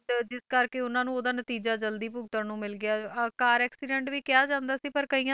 ਤੇ ਜਿਸ ਕਰਕੇ ਉਹਨਾਂ ਨੂੰ ਉਹਦਾ ਨਤੀਜਾ ਜ਼ਲਦੀ ਭੁਗਤਣ ਨੂੰ ਮਿਲ ਗਿਆ ਅਹ ਕਾਰ accident ਵੀ ਕਿਹਾ ਜਾਂਦਾ ਸੀ ਪਰ ਕਈਆਂ,